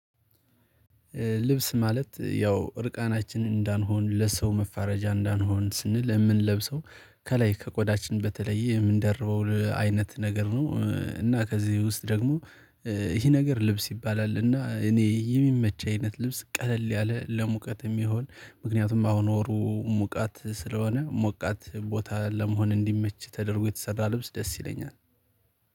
ልብስ ማለት ያው እርቃናችንን እንዳንሆን ለሰው መፋረጃ እንዳንሆን ስንል የምንለብሰው ከላይ ከቆዳችን በተለየ የምንደርበው አይነት ነገር ነው እና ከዚህ ውስጥ ደግሞ ይሄ ነገር ልብስ ይባላል እና እኔ የሚመች አይነት ልብስ ቀለል ያለ ለሙቀት የሚሆን ምክንያቱም አሁን ወሩ ሙቃት ስለሆነ ሙቃት ቦታ ለመሆን እንዲመች ተደርጎ የተሰራ ልብስ ደስ ይለኛል